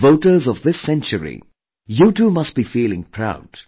As voters of this century, you too must be feeling proud